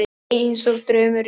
Einsog draumur í draumi.